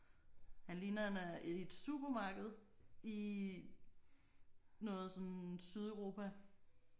Han ligner han er i et supermarked i noget sådan Sydeuropa